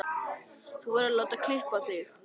Þú verður að láta klippa þig.